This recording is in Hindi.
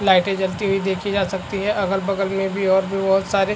लाइटे जलती हुई देखी जा सकती है अगल - बगल में भी और भी बहुत सारे --